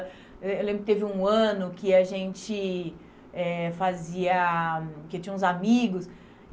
Eh eu lembro que teve um ano que a gente eh fazia... que tinha uns amigos.